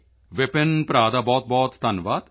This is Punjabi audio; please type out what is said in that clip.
ਵਿਪਿਨ ਭਰਾ ਦਾ ਬਹੁਤਬਹੁਤ ਧੰਨਵਾਦ